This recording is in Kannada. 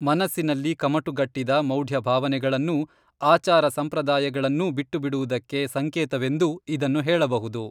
ಮನಸ್ಸಿನಲ್ಲಿ ಕಮಟುಗಟ್ಟಿದ ಮೌಢ್ಯ ಭಾವನೆಗಳನ್ನೂ ಆಚಾರ ಸಂಪ್ರದಾಯಗಳನ್ನೂ ಬಿಟ್ಟುಬಿಡುವುದಕ್ಕೆ ಸಂಕೇತವೆಂದೂ ಇದನ್ನು ಹೇಳಬಹುದು